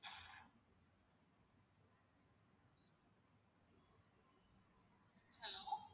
Hello